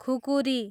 खुकुरी